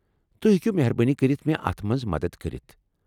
تُہۍ ہٮ۪کوٕ مہربٲنی کٔرتھ مے٘ اتھ منز مدتھ کٔرِتھ ۔